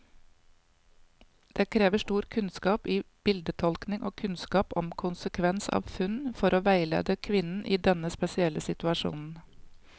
Det krever stor kunnskap i bildetolkning og kunnskap om konsekvens av funn, for å veilede kvinnen i denne spesielle situasjonen.